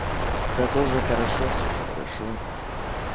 да тоже хорошо всё хорошо